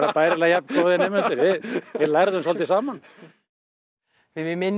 bærilega jafn góðir nemendur við lærðum svolítið saman við minnum